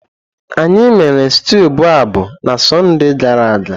Anyị mere stew boababab na Sọnde gara aga.